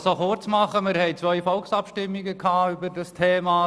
Wir hatten zwei Volksabstimmungen über das Thema.